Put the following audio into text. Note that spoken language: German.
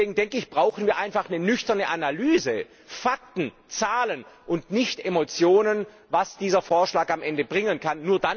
Deswegen brauchen wir einfach eine nüchterne Analyse Fakten, Zahlen und nicht Emotionen, was dieser Vorschlag am Ende bringen kann.